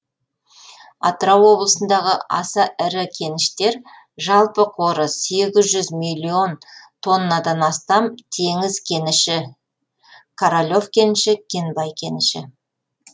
атырау облысындағы аса ірі кеніштер жалпы қоры сегіз жүз миллион тоннадан астам теңіз кеніші королев кеніші кенбай кеніші